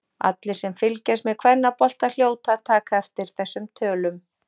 Allir sem fylgjast með kvennabolta hljóta að taka eftir þessum tölum.